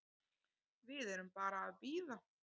Við erum bara að bíða.